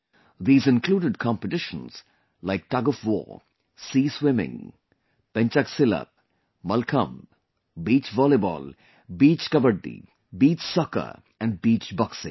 These included competitions like Tug of war, Sea swimming, pencak silat, Malkhamb, Beach volleyball, Beach Kabaddi, Beach soccer, and Beach Boxing